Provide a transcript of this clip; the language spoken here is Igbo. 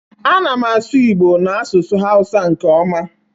Ana m asu igbo na asusu hausa nke oma.